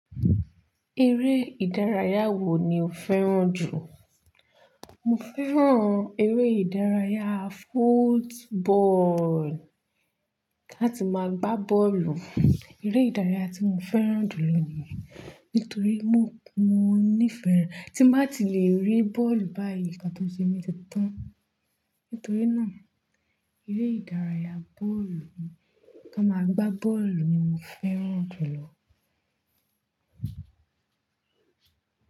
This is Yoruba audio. Eré ìdárayá wo ni o fẹ́ràn jù? Mo fẹ́ràn eré ìdárayá football, láti máa gbá bọ́ọ̀lù. Eré ìdárayá tí mo fẹ́ràn jù lọ ní, nítorí mo, mo níìfẹ̀ẹ́ tí mo bá ti le rí bọ́ọ̀lù báyìí, ìkátó ṣe mí ti tán. Nítorí náà, eré ìdárayá bọ́ọ̀lù, kí a máa gbá bọ́ọ̀lù ni mo fẹ́ràn jù lọ.